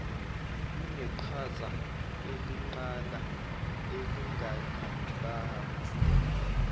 luneqhaza elinqala elingalibamba